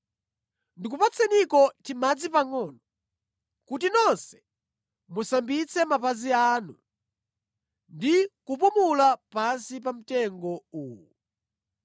Ndikupatseniko timadzi pangʼono kuti nonse musambitse mapazi anu ndi kupumula pansi pa mtengo uwu.